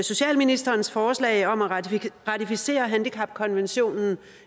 socialministerens forslag om at ratificere handicapkonventionen